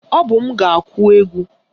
Ọ bụ m ga-akụ ekwe